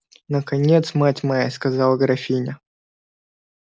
наконец мать моя сказала графиня